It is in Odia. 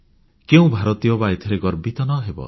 କେଉଁ ଭାରତୀୟ ବା ଏଥିରେ ଗର୍ବିତ ନ ହେବ